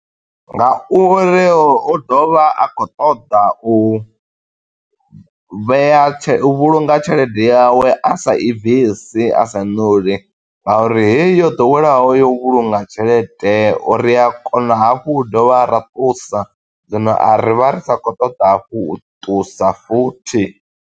Nga uri u ḓovha a khou ṱoḓa u vhea tshe, u vhulunga tshelede yawe a sa i bvisi, a sa i ṋuli, nga uri he yi yo ḓoweleaho yo u vhulunga tshelede, ri a kona hafhu u dovha ra ṱusa. Zwino a ri vha ri sa khou ṱoḓa hafhu, u ṱusa futhi.